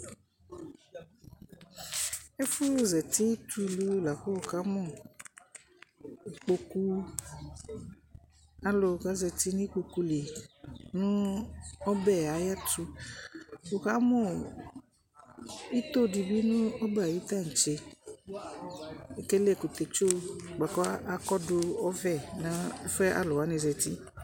Ɛfuzati tu ulu lakʊ ʊkamʊ ikpokʊ alu k azati nu ikpokʊ li nʊ ɔbɛyɛ ayɛtʊ ʊkamʊ itodibɩ nu ɔbɛ ayu taŋtse ekele ɛkʊtɛtsu bʊakʊ akɔdu nu ɔvɛ nʊ ɛfuɛ aluwani zati